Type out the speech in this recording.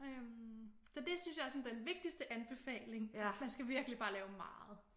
Øh så det synes jeg er sådan den vigtigste anbefaling man skal virkelig bare lave meget